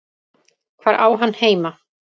Hvar á hann heima?